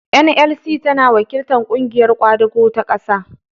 "NLC" tana wakiltar "Ƙungiyar Ƙwadago ta Ƙasa".